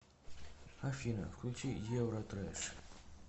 афина включи евротрэш